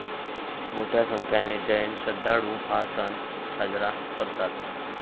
मोठ्या संख्येने जैन श्रद्धाळु हा सण साजरा करतात.